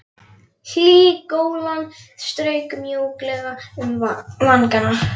Hlý golan strauk mjúklega um vangana.